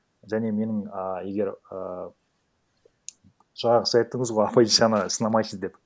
және менің ааа егер ііі жаңағы сіз айттыңыз ғой оппозицияны сынамайықшы деп